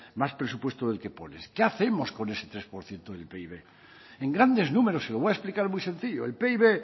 más presupuesto del que pones qué hacemos con ese tres por ciento del pib en grandes números y lo voy a explicar muy sencillo el pib